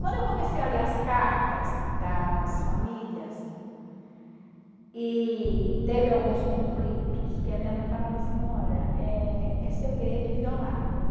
Quando eu comecei a ler as cartas das famílias, e teve alguns conflitos, porque a minha mãe falava assim, olha, eh é segredo inviolável.